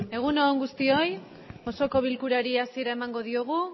egun on guztioi osoko bilkurari hasiera emango diogu